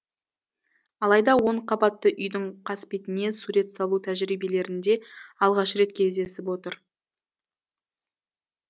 алайда он қабатты үйдің қасбетіне сурет салу тәжірибелерінде алғаш рет кездесіп отыр